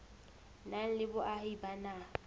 nang le boahi ba naha